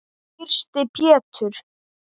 Þyrsti Pétur.